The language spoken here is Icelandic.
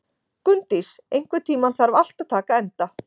Gunndís, einhvern tímann þarf allt að taka enda.